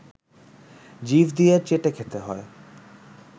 জিভ দিয়ে চেটে খেতে হয়